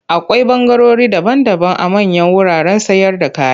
Akwai ɓangarori daban-daban a manyan wuraren sayarda kaya.